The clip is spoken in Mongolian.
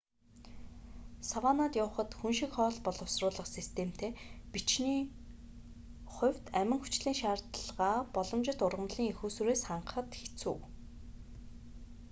саваннад явахад хүн шиг хоол боловсруулах системтэй бичний хувьд амин хүчлийн шаардлагаа боломжит ургамлын эх үүсвэрээс хангахад хэцүү